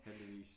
Heldigvis